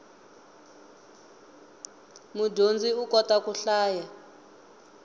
mudyondzi u kota ku hlaya